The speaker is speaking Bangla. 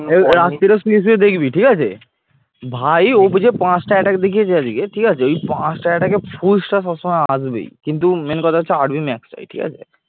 ভাই অভি যে পাঁচটা attack দেখিয়েছে আজকে ঠিক আছে ওই পাঁচটা attack এ ফুলস্তা সবসময় আসবেই কিন্তু main কথা হচ্ছে rb max নয় ঠিক আছে